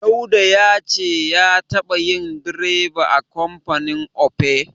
Dauda ya ce ya taɓa yin direba a kamfanin Opay.